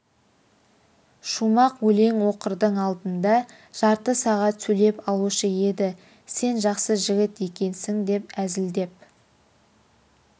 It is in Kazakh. шумақ өлең оқырдың алдында жарты сағат сөйлеп алушы еді сен жақсы жігіт екенсің деп әзілдеп